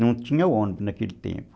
Não tinha ônibus naquele tempo.